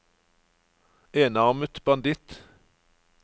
enarmet banditt